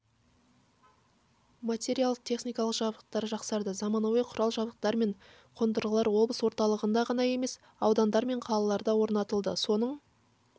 материалдық-техникалық жабдықтау жақсарды заманауи құрал-жабдықтар мен қондырғылар облыс орталығында ғана емес аудандар мен қалаларда орнатылды осының